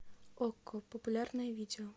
окко популярное видео